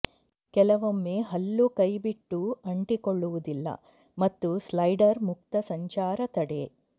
ಕೆಲವೊಮ್ಮೆ ಹಲ್ಲು ಕೈಬಿಟ್ಟು ಅಂಟಿಕೊಳ್ಳುವುದಿಲ್ಲ ಮತ್ತು ಸ್ಲೈಡರ್ ಮುಕ್ತ ಸಂಚಾರ ತಡೆ